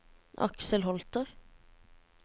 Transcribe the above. Aksel Holter